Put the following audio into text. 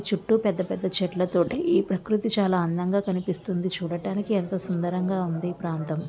చుట్టూ పెద్ద పెద్ద చెట్ల తోటి ఈ ప్రకృతి చాలా అందంగా కనిపిస్తుంది చూడడానికి ఎంతో సుందరంగా ఉంది ఈ ప్రాంతం --